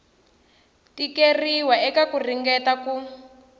tikeriwa eka ku ringeta ku